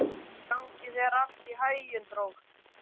Gangi þér allt í haginn, Drótt.